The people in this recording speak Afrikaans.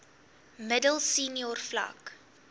middel senior vlak